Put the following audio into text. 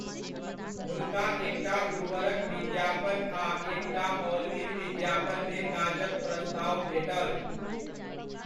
हुनका एकटा उर्वरकक विज्ञापन आ एकटा ऑलविन विज्ञापनमे काजक प्रस्ताव भेटल।